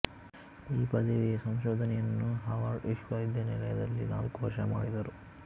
ಈ ಪದವಿಯ ಸಂಶೋದನೆಯನ್ನು ಹಾರ್ವಾರ್ಡ್ ವಿಶ್ವವಿದ್ಯಾನಿಲಯದಲ್ಲಿ ನಾಲ್ಕು ವರ್ಷ ಮಾಡಿದರು